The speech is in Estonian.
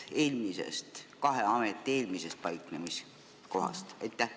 Mis saab kahe ameti eelmisest paiknemiskohast?